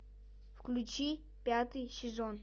включи пятый сезон